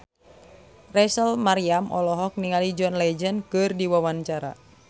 Rachel Maryam olohok ningali John Legend keur diwawancara